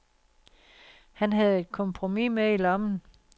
Han havde et kompromis med i lommen.